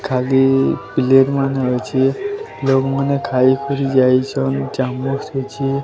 ଖାଲି ପ୍ଲେଟ୍ ମାନେ ଅଛି ଲୋକ୍ ମାନେ ଖାଇକରି ଯାଇଚନ୍ ଚାମଚ୍ କିଛି --